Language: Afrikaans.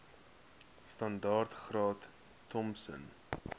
standaard graad thompson